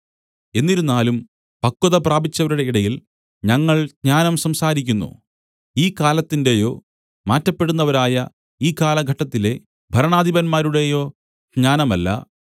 എന്നിരുന്നാലും പക്വത പ്രാപിച്ചവരുടെ ഇടയിൽ ഞങ്ങൾ ജ്ഞാനം സംസാരിക്കുന്നു ഈ കാലത്തിന്റെയോ മാറ്റപ്പെടുന്നവരായ ഈ കാലഘട്ടത്തിലെ ഭരണാധിപന്മാരുടെയോ ജ്ഞാനമല്ല